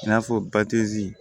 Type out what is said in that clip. I n'a fɔ ba tɛ